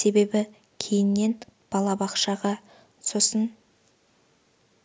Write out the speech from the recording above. себебі кейіннен балабақшаға сосын